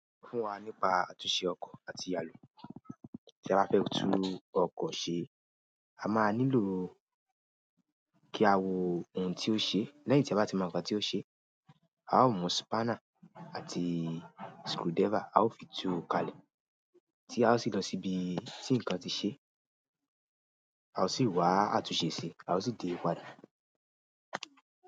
Fún wa nípa àtúnṣe ọkọ̀ àti ìyàlọ̀. Tí a bá fẹ́ tú ọkọ̀ ṣe, a máa nílò kí a wo ohun tí ó ṣe. Lẹ́yìn tí a bá ti mọ ohun tí ó ṣe, a ó mú spana àti screwdriver. A ó fi tú kalẹ̀ tí a ó sì lọ síbi tí ǹkan ti ṣe. A ó sì wá àtúnṣe si, a ó sì dé padà.